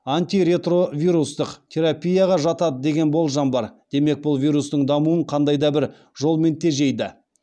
антиретровирустық терапияға жатады деген болжам бар демек бұл вирустың дамуын қандай да бір жолмен тежейді